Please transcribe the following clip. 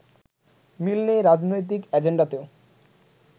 মিল নেই রাজনৈতিক এজেন্ডাতেও